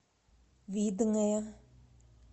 видное